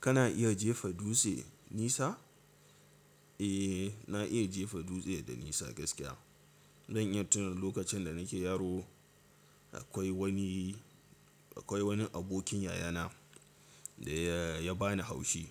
Kana iya jefa dutse nisa? Eh, na iya jefa dutse da nisa gaskiya. Don in tuno lokacin da nake yaro akwai wani, akwai wani abokin yayana da ya bani haushi.